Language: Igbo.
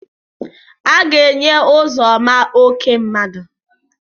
Aga-enye Ụzọma oké mmadụ.